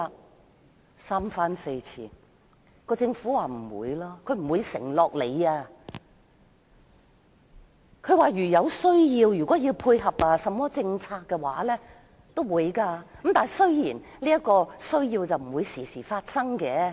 我們三番四次提出要求，但政府不願意作出承諾，並說如有需要配合政策，會再次這樣做，雖然不會經常有此需要。